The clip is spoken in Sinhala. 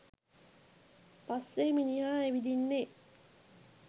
පස්සේ මිනිහා ඇවිදින්නේ.